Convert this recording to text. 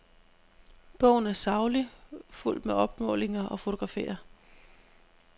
Bogen er saglig, fuldt med opmålinger og fotografier.